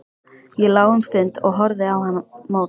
Ég lá um stund og horfði á hann á móti.